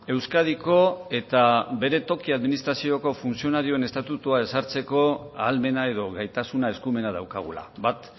euskadiko eta bere toki administrazioko funtzionarioen estatua ezartzeko ahalmenak edo gaitasuna eskumena daukagula bat